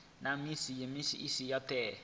na musi a si ho